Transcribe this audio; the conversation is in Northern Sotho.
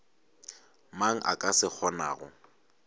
mang a ka se kgonago